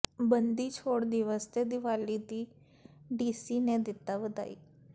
ਬੰਦੀ ਛੋੜ ਦਿਵਸ ਤੇ ਦੀਵਾਲੀ ਦੀ ਡੀਸੀ ਨੇ ਦਿੱਤੀ ਵਧਾਈ